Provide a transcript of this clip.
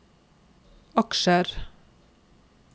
aksjer